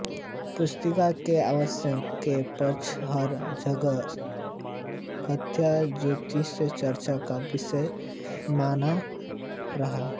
पुस्तक के प्रकाशन के पश्चात् हर जगह गत्यात्मक ज्योतिष चर्चा का विषय बना रहा